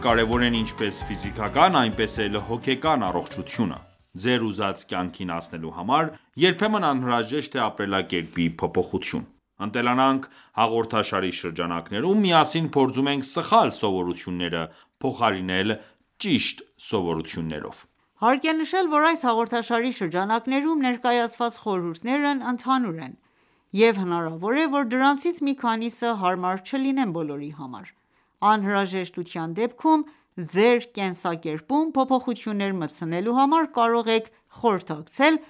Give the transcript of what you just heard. կարևոր է ինչպես ֆիզիկական, այնպես էլ հոգեկան առողջությունը: Ձեր ուզած կյանքին հասնելու համար երբեմն անհրաժեշտ է ապրելակերպի փոփոխություն: «Ընտելանանք» հաղորդաշարի շրջանակներում միասին փորձում ենք սխալ սովորությունները փոխարինել ճիշտ սովորություններով։ Հարկ է նշել, որ այս հաղորդաշարի շրջանակներում ներկայացված խորհուրդներն ընդհանուր են, և հնարավոր է, որ դրանցից մի քանիսը հարմար չլինեն բոլորի համար: Անհրաժեշտության դեպքում ձեր կենսակերպում փոփոխություններ մտցնելու համար կարող եք խորհրդակցել